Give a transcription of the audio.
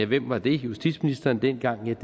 hvem var det justitsministeren dengang